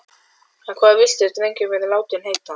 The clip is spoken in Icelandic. En hvað viltu að drengurinn verði látinn heita?